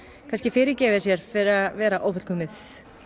fyrirgefi sér fyrir að vera ófullkomið